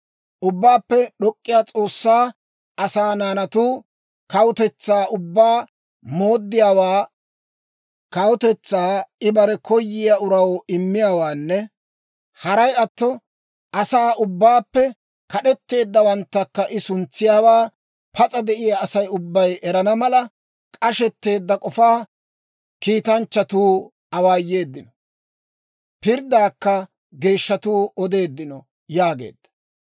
Ubbaappe d'ok'k'iyaa S'oossay asaa naanatu kawutetsaa ubbaa mooddiyaawaa, kawutetsaa I bare koyiyaa uraw immiyaawaanne haray atto, asaa ubbaappe kad'etteeddawanttakka I suntsiyaawaa pas'a de'iyaa Asay ubbay erana mala, k'ashetteedda k'ofaa kiitanchchatuu awaayeeddino. Pirddaakka geeshshatuu odeeddino› yaageedda.